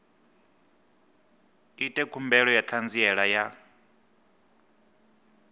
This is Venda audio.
ite khumbelo ya ṱhanziela ya